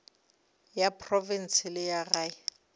ya profense le ya gae